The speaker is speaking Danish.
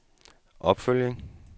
opfølgning